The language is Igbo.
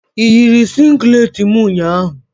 Ị yiri singlet m ụnyahụ?